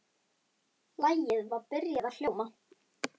Lagið var byrjað að hljóma.